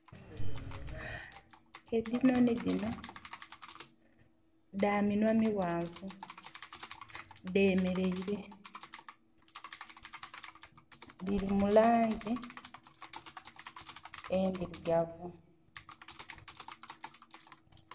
Edhinonhi dhino dha minwa mighanvu, dhemereire dhiri mu langi endhirugavu.